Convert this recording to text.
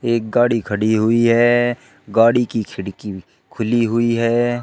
एक गाड़ी खड़ी हुई है। गाड़ी की खिड़की खुली हुई है।